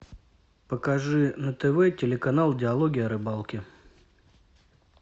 покажи на тв телеканал диалоги о рыбалке